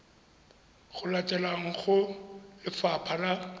di latelang go lefapha la